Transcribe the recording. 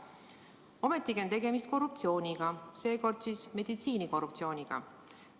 Ometi on tegemist korruptsiooniga, seekord meditsiinikorruptsiooniga.